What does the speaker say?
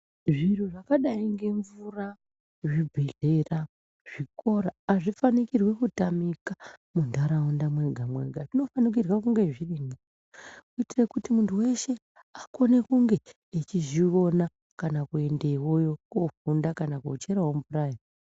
Zviro zvakadai ngemvura, zvibhehlera zvikora hazvifanikirwi kutamika muntaraunda mwega-mwega zvinofanikirwa kunge zvirimwo. Kuitire kuti muntu weshe akone kunge echizviona kana kuendewoyo koofunda kana koocherewo mvurayo.